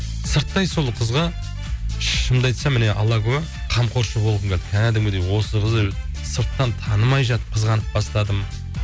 сырттай сол қызға шынымды айтсам міне алла куә қамқоршы болғым келді кәдімгідей осы қызды сырттан танымай жатып қызғанып бастадым